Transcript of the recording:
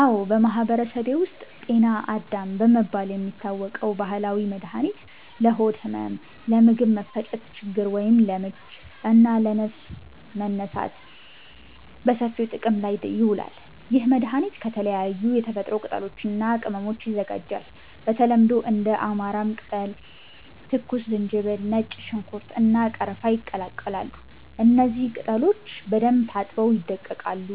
አዎ፣ በማህበረሰቤ ውስጥ “ጤና አዳም” በመባል የሚታወቅ ባህላዊ መድኃኒት ለሆድ ህመም፣ ለምግብ መፈጨት ችግር (ለምች) እና ለንፋስ መነሳት በሰፊው ጥቅም ላይ ይውላል። ይህ መድኃኒት ከተለያዩ የተፈጥሮ ቅጠሎች እና ቅመሞች ይዘጋጃል። በተለምዶ እንደ አማራም ቅጠል፣ ትኩስ ዝንጅብል፣ ነጭ ሽንኩርት፣ እና ቀረፋ ይቀላቀላሉ። እነዚህ ቅጠሎች በደንብ ታጥበው ይደቀቃሉ፣